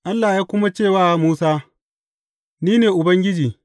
Allah ya kuma ce wa Musa, Ni ne Ubangiji.